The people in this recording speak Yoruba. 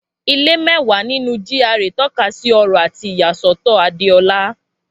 Ilé mẹ́wàá nínú GRA tọ́ka sí ọrọ̀ àti ìyàsọ́tọ̀ Adeola.